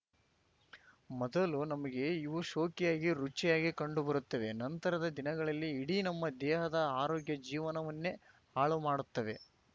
ಮೊದಲು ನಮಗೆ ಇವು ಶೋಕಿಯಾಗಿ ರುಚಿಯಾಗಿ ಕಂಡು ಬರುತ್ತವೆ ನಂತರದ ದಿನಗಳಲ್ಲಿ ಇಡೀ ನಮ್ಮ ದೇಹದ ಆರೋಗ್ಯ ಜೀವನವನ್ನೇ ಹಾಳು ಮಾಡುತ್ತವೆ